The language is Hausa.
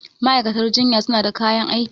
ma'aikatan jinya suna da kayan aiki